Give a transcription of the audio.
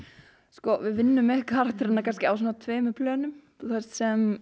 sko við vinnum með karakterana á svona tveimur plönum sem